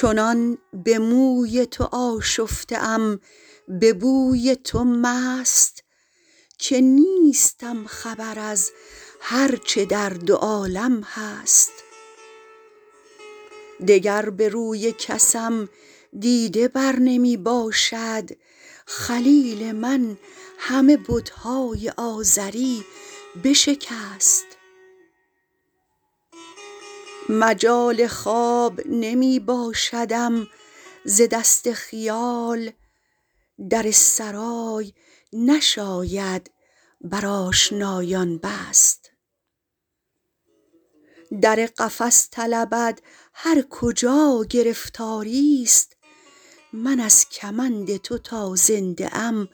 چنان به موی تو آشفته ام به بوی تو مست که نیستم خبر از هر چه در دو عالم هست دگر به روی کسم دیده بر نمی باشد خلیل من همه بت های آزری بشکست مجال خواب نمی باشدم ز دست خیال در سرای نشاید بر آشنایان بست در قفس طلبد هر کجا گرفتاری ست من از کمند تو تا زنده ام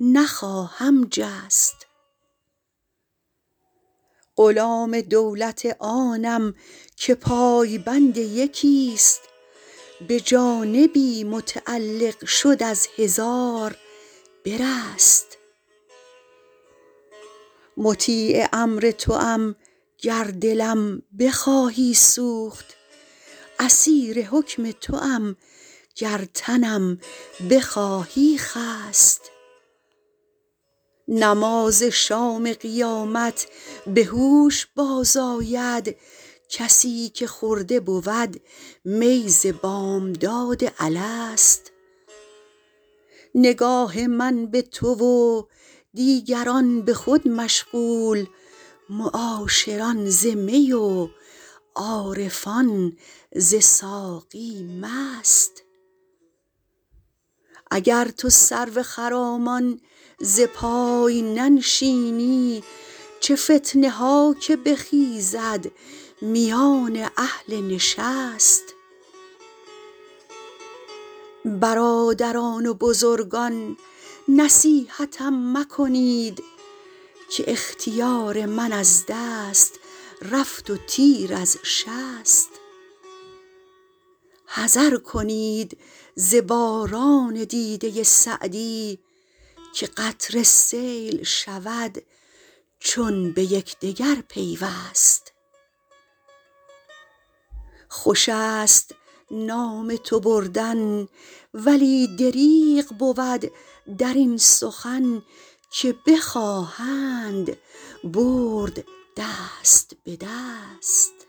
نخواهم جست غلام دولت آنم که پای بند یکی ست به جانبی متعلق شد از هزار برست مطیع امر توام گر دلم بخواهی سوخت اسیر حکم توام گر تنم بخواهی خست نماز شام قیامت به هوش باز آید کسی که خورده بود می ز بامداد الست نگاه من به تو و دیگران به خود مشغول معاشران ز می و عارفان ز ساقی مست اگر تو سرو خرامان ز پای ننشینی چه فتنه ها که بخیزد میان اهل نشست برادران و بزرگان نصیحتم مکنید که اختیار من از دست رفت و تیر از شست حذر کنید ز باران دیده سعدی که قطره سیل شود چون به یکدگر پیوست خوش است نام تو بردن ولی دریغ بود در این سخن که بخواهند برد دست به دست